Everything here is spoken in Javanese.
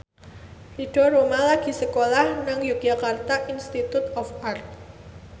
Ridho Roma lagi sekolah nang Yogyakarta Institute of Art